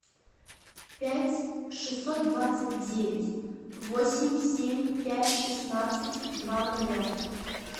пять шестьсот двадцать девять восемь семь пять шестнадцать два нуля